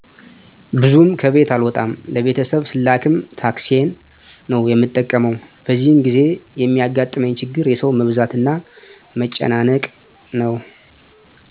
ብዙም ከቤት አልወጣም ለቤተሰብ ስላክም ታክሲን ነው የምጠቀመው በዚህን ጊዜ የሚያጋጥመኝ ችግር የሠው መብዛትና መጨናነቅ ነው